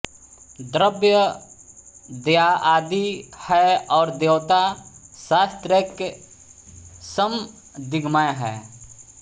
द्रव्य दध्यादि है और देवता शास्त्रैक समधिगम्य है